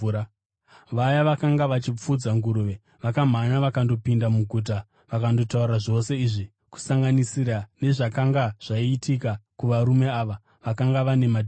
Vaya vakanga vachifudza nguruve vakamhanya vakandopinda muguta vakandotaura zvose izvi, kusanganisira nezvakanga zvaitika kuvarume vaya vakanga vane madhimoni.